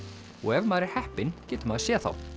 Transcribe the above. og ef maður er heppinn getur maður séð þá